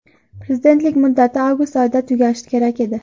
Prezidentlik muddati avgust oyida tugashi kerak edi.